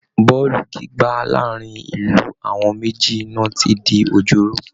Bọ́ọ̀lù gbígbá láàárín ìlú àwọn méjì náà ti di òjóró